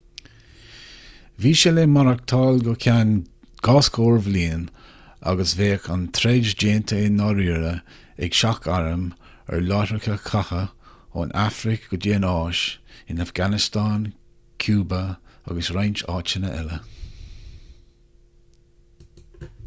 bhí sé le maireachtáil go ceann 40 bliain agus bheadh an troid déanta i ndáiríre ag seach-airm ar láithreacha catha ón afraic go dtí an áis in afganastáin cúba agus roinnt áiteanna eile